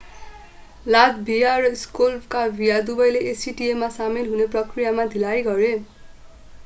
Latvia र Slovakia दुबैले acta मा सामेल हुने प्रक्रियामा ढिलाइ गरे